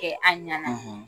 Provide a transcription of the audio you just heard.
kɛ a ɲa na